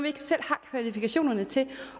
ikke selv har kvalifikationerne til